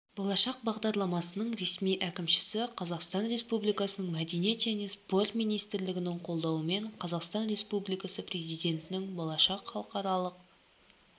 болашақ бағдарламасының ресми әкімшісі қазақстан республикасының мәдениет және спорт министрлігінің қолдауымен қазақстан республикасы президентінің болашақ халықаралық